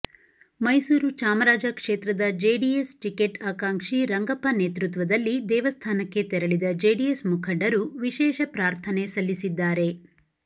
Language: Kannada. ಮೈಸೂರು ಚಾಮರಾಜ ಕ್ಷೇತ್ರದ ಜೆಡಿಎಸ್ ಟಿಕೇಟ್ ಆಕಾಂಕ್ಷಿ ರಂಗಪ್ಪ ನೇತೃತ್ವದಲ್ಲಿ ದೇವಸ್ಥಾನಕ್ಕೆ ತೆರಳಿದ ಜೆಡಿಎಸ್ ಮುಖಂಡರು ವಿಶೇಷ ಪ್ರಾರ್ಥನೆ ಸಲ್ಲಿಸಿದ್ದಾರೆ